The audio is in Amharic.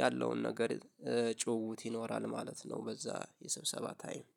ያለውን ነገር ጩውውት ይኖራል ማለት ነው። በዛ የስብሰባ ታይም